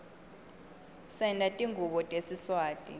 senta tingubo tesiswati